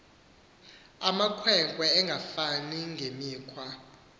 makhwenkwe engafani ngemikhwa